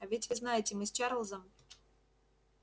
а ведь вы знаете мы с чарлзом